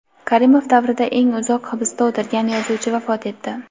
Karimov davrida eng uzoq hibsda o‘tirgan yozuvchi vafot etdi.